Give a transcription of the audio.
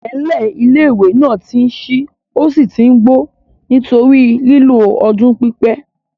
IIẹ̀nlẹ̀ ilé-ìwé náà ti n ṣí ó sì tí n gbó nítorí lílò ọdún pípẹ́